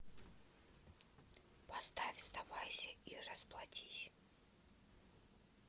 поставь сдавайся и расплатись